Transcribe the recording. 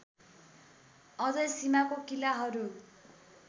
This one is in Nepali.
अझै सीमाको किलाहरू